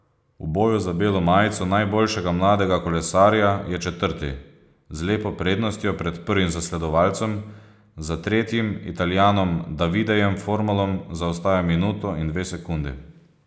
V boju za belo majico najboljšega mladega kolesarja je četrti, z lepo prednostjo pred prvim zasledovalcem, za tretjim Italijanom Davidejem Formolom zaostaja minuto in dve sekundi.